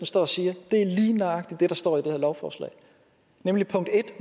står og siger er lige nøjagtig det der står i det her lovforslag nemlig